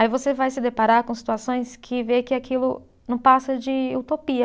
Aí você vai se deparar com situações que vê que aquilo não passa de utopia.